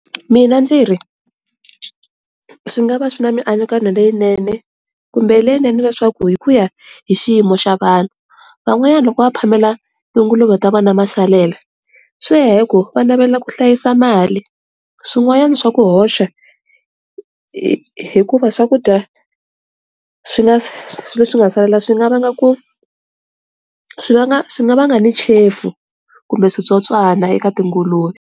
Mina ndzi ri, swi nga va swi na mianakanyo leyinene kumbe leyinene leswaku hikuya hi xiyimo xa vanhu. Van'wanyana loko va phamela tinguluve ta vona masalela swi ya hi ku va navela ku hlayisa mali, swin'wana swa ku hoxa hi hikuva swakudya swi nga leswi nga salela swi nga va nga ku swi vanga swi nga vanga ni chefu kumbe switsotswana eka tinguluve.